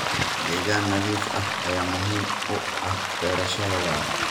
Deegaan nadiif ah ayaa muhiim u ah beerashada waara.